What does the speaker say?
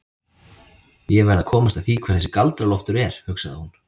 Ég verð að komast að því hver þessi Galdra-Loftur er, hugsaði hún.